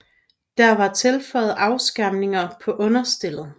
Der var tilføjet afskærmninger på understellet